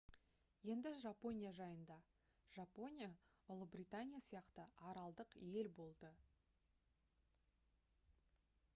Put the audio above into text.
енді жапония жайында жапония ұлыбритания сияқты аралдық ел болды